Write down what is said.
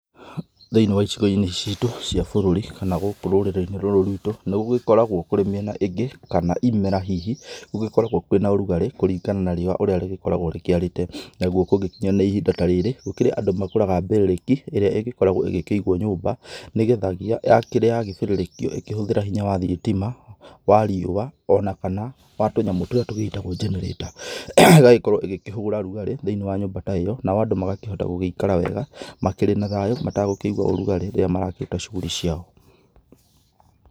Thĩiniĩ wa icigo-inĩ citũ cia bũrũri kana gũkũ rũrĩrĩ-inĩ rũrũ rwitũ, nĩ gũgĩkoragwo kũrĩ mĩena ĩngĩ kana imera hihi gũgĩkoragwo kwĩ na ũrugarĩ, kũringana na riũa ũrĩa rĩgĩkoragwo rĩkĩarĩte, naguo kũngĩkinya nĩ ihinda ta rĩrĩ, gũkĩrĩ andũ magũraga mbĩrĩrĩki, ĩrĩa ĩgĩkoragwo ĩgĩkĩigwo nyũmba nĩgethagĩa rĩrĩa yagĩbĩrĩrĩkio ĩkĩhũthĩra hinya wa thitima, wa riũa, ona kana wa tũnyamũ tũrĩa tũgĩtagwo generator, igagĩkorwo ĩgĩkĩhũra rugarĩ thĩiniĩ wa nyũmba ta ĩyo, nao andũ magakĩhota gũgĩikara wega, makĩrĩ na thayũ matagũkĩigwa ũrugarĩ rĩrĩa marakĩruta cuguri ciao.